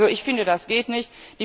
Also, ich finde, das geht nicht.